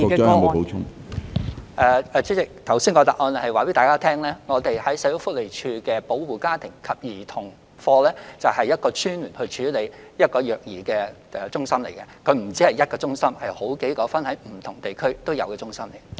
主席，我剛才已在答覆中告訴大家，社署保護家庭及兒童服務課就是一個專門處理虐兒個案的中心，它不只設有一間中心，而是設有分散各區的中心。